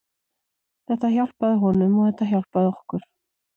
Þetta hjálpaði honum og þetta hjálpaði okkur.